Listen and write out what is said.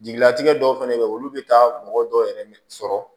Jigilatigɛ dɔw fɛnɛ bɛ yen olu bɛ taa mɔgɔ dɔw yɛrɛ sɔrɔ